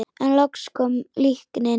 En loks kom líknin.